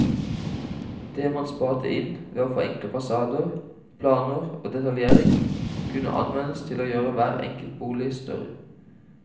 Det man sparte inn ved å forenkle fasader, planer og detaljering, kunne anvendes til å gjøre hver enkelt bolig større.